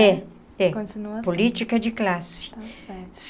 É, é. Continua. Política de classe.